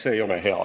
See ei ole hea.